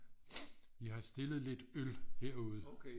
i har stillet lidt øl herude